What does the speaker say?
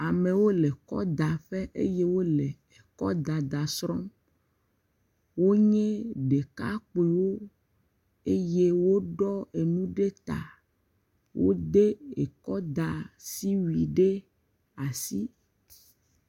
Amewo le kɔdaƒe eye wole kɔdada srɔ̃m, wonye ɖekakpoewo eye woɖɔ enu ɖe ta, wo\de ekɔ da asi wui ɖe asi.